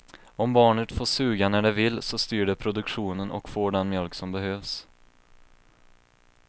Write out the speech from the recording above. Om barnet får suga när det vill så styr det produktionen och får den mjölk som behövs.